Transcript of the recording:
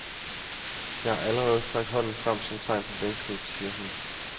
Jeg har allerede strakt hånden frem som tegn på venskab, siger hun.